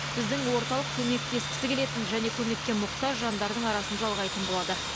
біздің орталық көмектескісі келетін және көмекке мұқтаж жандардың арасын жалғайтын болады